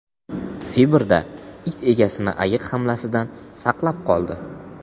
Sibirda it egasini ayiq hamlasidan saqlab qoldi.